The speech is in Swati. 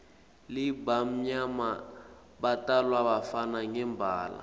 labamnyama batalwa bafana ngembala